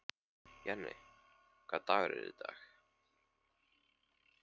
Jenni, hvaða dagur er í dag?